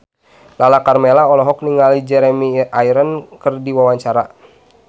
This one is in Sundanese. Lala Karmela olohok ningali Jeremy Irons keur diwawancara